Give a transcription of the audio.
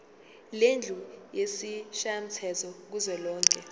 lendlu yesishayamthetho kuzwelonke